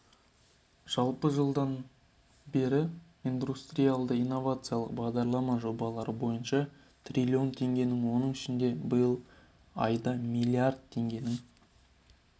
жалпы жылдан бері индустриялды-инновациялық бағдарлама жобалары бойынша триллион теңгенің оның ішінде биыл айда млрд теңгенің